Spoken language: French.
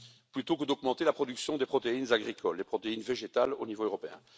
plutôt que d'augmenter la production des protéines agricoles, végétales, au niveau européen.